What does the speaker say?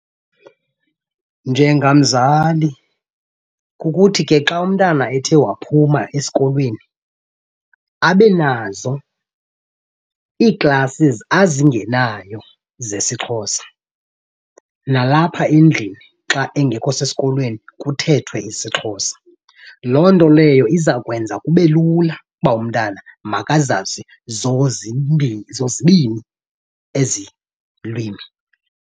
Njengamzali kukuthi ke xa umntana ethe waphuma esikolweni abe nazo ii-classes azingenayo zesiXhosa, nalapha endlini xa engekho sesikolweni kuthethwe isiXhosa. Loo nto leyo iza kwenza kube lula uba umntana makazazi zozibini ezi lwimi.